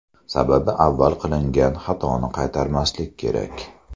Sababi avval qilingan xatoni qaytarmaslik kerak.